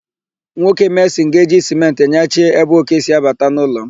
Nwoke mesịn ga-eji sịmentị nyachie ébé òké si abata n'ụlọ m.